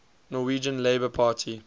norwegian labour party